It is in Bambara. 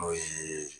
N'o ye